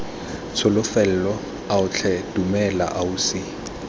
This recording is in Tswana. tsholofelo ao tlhe dumela ausi